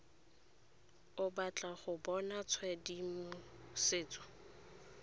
o batla go bona tshedimosetso